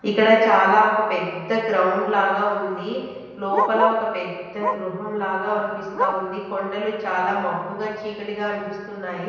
ఇక్కడ చాలా ఒక పెద్ద గ్రౌండ్ లాగా ఉంది లోపల ఒక పెద్ద గృహం లాగా అనిపిస్తా ఉంది కొండలు చాలా మబ్బుగా చీకటిగా అనిపిస్తున్నాయి.